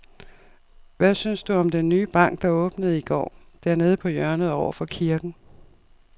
Hvad synes du om den nye bank, der åbnede i går dernede på hjørnet over for kirken?